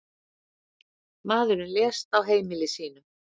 Maðurinn lést á heimili sínu.